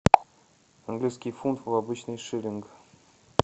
английский фунт в обычный шиллинг